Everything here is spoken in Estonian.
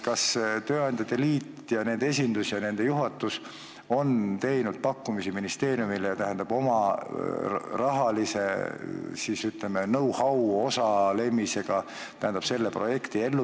Kas tööandjate liit, nende esindus ja nende juhatus on teinud pakkumisi ministeeriumile oma rahalise ja, ütleme, know-how osaga selle projekti elluviimisel?